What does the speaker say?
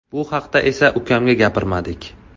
Bu haqda esa ukamga gapirmadik.